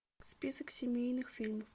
список семейных фильмов